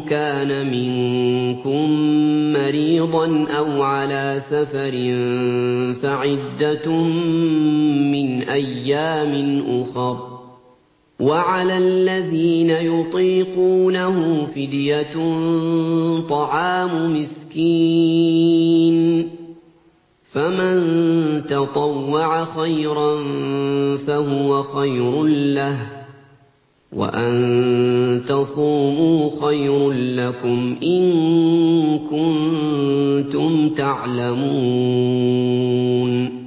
كَانَ مِنكُم مَّرِيضًا أَوْ عَلَىٰ سَفَرٍ فَعِدَّةٌ مِّنْ أَيَّامٍ أُخَرَ ۚ وَعَلَى الَّذِينَ يُطِيقُونَهُ فِدْيَةٌ طَعَامُ مِسْكِينٍ ۖ فَمَن تَطَوَّعَ خَيْرًا فَهُوَ خَيْرٌ لَّهُ ۚ وَأَن تَصُومُوا خَيْرٌ لَّكُمْ ۖ إِن كُنتُمْ تَعْلَمُونَ